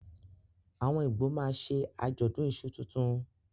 Awọn Igbo máà ṣe ajọdun iṣu tuntun